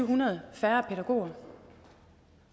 hundrede færre pædagoger